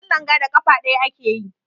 Wasan langa da ƙafa ɗaya ake yi.